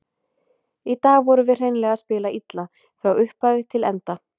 Í dag vorum við hreinlega að spila illa, frá upphafi til enda.